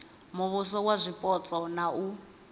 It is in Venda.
muvhuso wa zwipotso na u